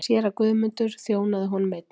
Séra Guðmundur þjónaði honum einnig.